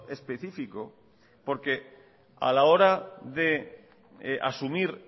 específico porque a la hora de asumir